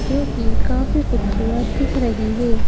जो की काफी खूबसूरत दिख रही है।